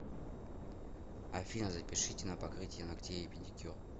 афина запишите на покрытие ногтей и педикюр